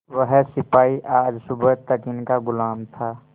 वह सिपाही आज सुबह तक इनका गुलाम था